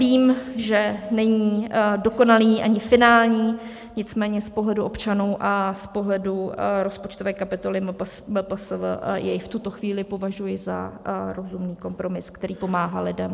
Vím, že není dokonalý ani finální, nicméně z pohledu občanů a z pohledu rozpočtové kapitoly MPSV jej v tuto chvíli považuji za rozumný kompromis, který pomáhá lidem.